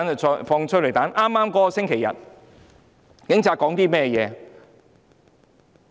在剛過去的星期日，警察說了甚麼？